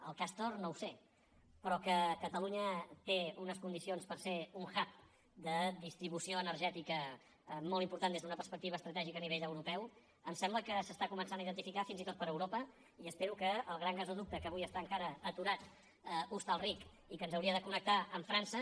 el castor no ho sé però que catalunya té unes condicions per ser un hubtica molt important des d’una perspectiva estratègica a nivell europeu em sembla que s’està començant a identificar fins i tot per europa i espero que el gran gasoducte que avui està encara aturat a hostalric i que ens hauria de connectar amb frança